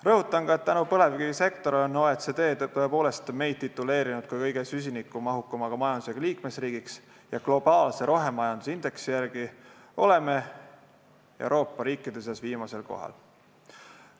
Rõhutan ka, et põlevkivisektori tõttu on OECD meid tõepoolest tituleerinud kõige süsinikumahukama majandusega liikmesriigiks ja globaalse rohemajanduse indeksi järgi oleme Euroopa riikide seas viimasel kohal.